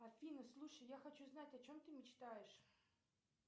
афина слушай я хочу знать о чем ты мечтаешь